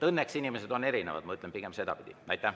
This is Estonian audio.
Õnneks on inimesed erinevad, ma ütlen pigem sedapidi.